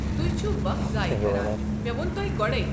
تُہۍ چھِوٕ وق ضایع کران، مےٚ ووٚن تۄہہِ گۄڑے۔